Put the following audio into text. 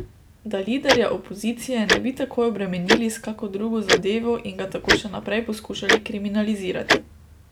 Da liderja opozicije ne bi takoj obremenili s kako drugo zadevo in ga tako še naprej poskušali kriminalizirati.